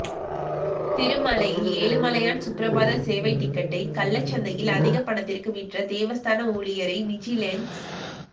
திருமலையில் ஏழுமலையான் சுப்ரபாத சேவை டிக்கெட்டை கள்ள சந்தையில் அதிக பணத்திற்கு விற்ற தேவஸ்தான ஊழியரை விஜிலென்ஸ்